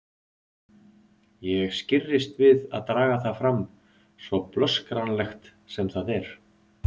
Ég skirrist við að draga það fram, svo blöskranlegt sem það er.